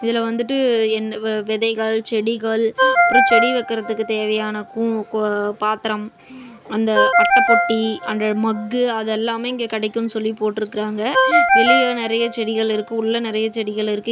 இதுல வந்துட்டு என் வே விதைகள் செடிகள் அப்புறோ செடி வைக்கறதுக்கு தேவையான கு கோ பாத்தரம். அந்த அட்டப் பொட்டி அந்த மக்கு அது எல்லாமே இங்க கிடைக்கும்னு சொல்லி போட்டுருக்கறாங்க. வெளிய நறையா செடிகள் இருக்கு உள்ள நறையா செடிகள் இருக்கு.